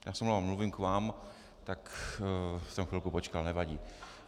Já se omlouvám, mluvím k vám, tak jsem chvilku počkal, nevadí.